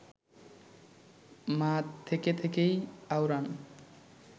মা থেকে থেকেই আওড়ান